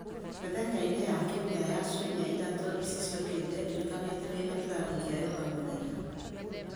Mĩthenya-inĩ ya kiumia ya ciumia ithatũ ici ciũkĩte ndirikania atĩ ndĩna kĩrathi kĩa yoga mũthenya